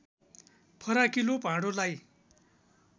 फराकिलो भाँडोलाई